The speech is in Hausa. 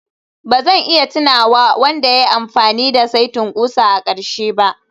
Ba zan iya tunawa wanda ya yi amfani da saitin ƙusa a ƙarshe ba